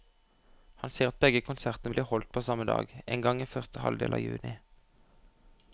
Han sier at begge konsertene blir holdt på samme dag, en gang i første halvdel av juni.